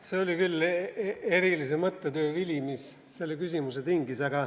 See oli küll erilise mõttetöö vili, mis selle küsimuse tingis.